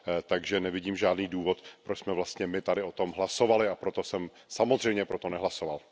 Takže nevidím žádný důvod, proč jsme vlastně my tady o tom hlasovali, a proto jsem samozřejmě pro to nehlasoval.